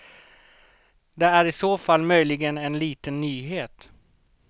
Det är i så fall möjligen en liten nyhet.